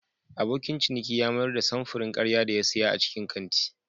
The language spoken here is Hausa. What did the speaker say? Abokin ciniki ya mayar da samfurin karya da ya siya a cikin kantin.